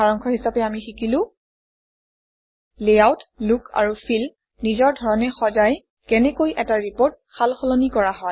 সাৰাংশ হিচাপে আমি শিকিলো লেআউট লুক আৰু ফিল নিজৰ ধৰণে সজাই কেনেকৈ এটা ৰিপৰ্ট সাল সলনি কৰা হয়